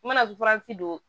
U mana don